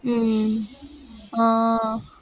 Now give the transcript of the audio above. உம் ஆஹ்